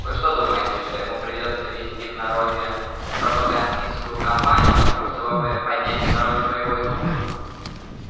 вы что думаете что ему придётся вести в народе пропагандистскую кампанию чтобы поднять в народе боевой дух